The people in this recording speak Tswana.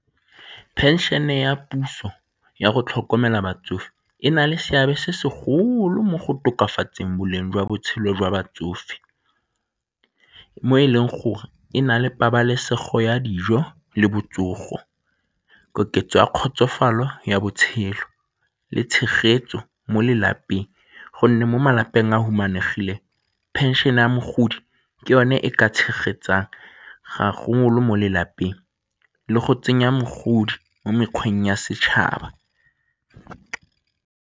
Phenšene ya puso ya go tlhokomela batsofe e na le seabe se segolo mo go tokafatseng boleng jwa botshelo jwa batsofe mo e leng gore e na le pabalesego ya dijo le botsogo, koketsego ya kgotsofalo ya botshelo le tshegetso mo lelapeng gonne mo malapeng a a humanegileng, phenšene ya mogodi ke yone e ka tshegetsang ga mo lelapeng le go tsenya mogodi mo mekgweng ya setšhaba.